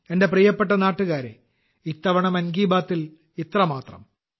എന്റെ പ്രിയപ്പെട്ട നാട്ടുകാരെ ഇത്തവണ മൻ കി ബാത്തിൽ ഇത്ര മാത്രം